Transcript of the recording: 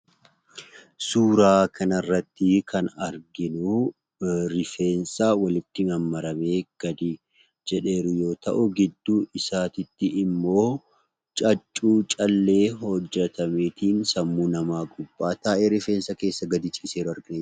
Suuraa kanarratti kan arginuu rifeensa walitti mammaramee gadi jedheeru yoo ta'u gidduu isaatiitti immoo caccuu callee hojjetameetiin sammuu namaa gubbaa taa'ee rifeensa keessa gadi ciiseeru argina.